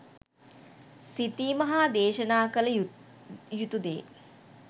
සිතීම හා දේශනා කළ යුතු දේ